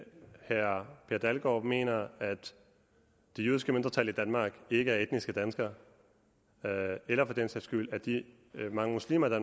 herre per dalgaard mener at det jødiske mindretal i danmark ikke er etniske danskere eller for den sags skyld at de mange muslimer der